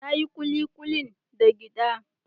Na yi kulikulin da giɗa.